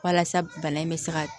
Walasa bana in bɛ se ka